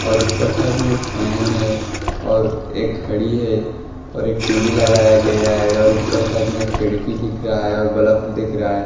और ऊपर साइड में एक फैन है और एक घड़ी है और एक टी_वी लगाया गया है और ऊपर साइड में एक खिड़की दिख रहा है और बल्ब दिख रहा है।